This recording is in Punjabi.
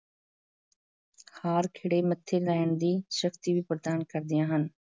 ਹਾਰ ਖਿੜੇ ਮੱਥੇ ਸਹਿਣ ਦੀ ਸ਼ਕਤੀ ਵੀ ਪ੍ਰਦਾਨ ਕਰਦੀਆਂ ਹਨ